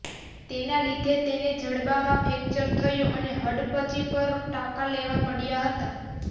તેના લીધે તેને જડબામાં ફ્રેક્ચર થયું અને હડપચી પર ટાંકા લેવા પડ્યા હતા